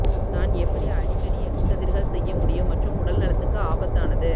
நான் எப்படி அடிக்கடி எக்ஸ் கதிர்கள் செய்ய முடியும் மற்றும் உடல்நலத்துக்குப் ஆபத்தானது